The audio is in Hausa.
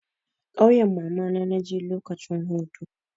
Ƙauyan mamana na je lokacin hutu.